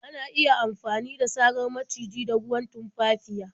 Ana iya maganin sarar maciji da ruwan tumfafiya.